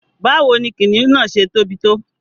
Báwo ni kìnnìún náà ṣẹ̀ tóbi tó?